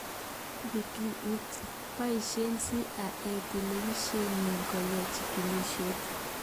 Wikileaks: boishe CIA telebisyenit koyai chikilisyet